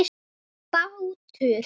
Það er bátur.